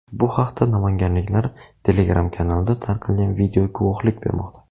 Bu haqda namanganliklar Telegram-kanalida tarqalgan video guvohlik bermoqda.